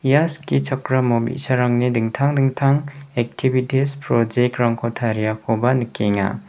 ia skichakramo bi·sarangni dingtang dingtang ektibitis project-rangko tariakoba nikenga.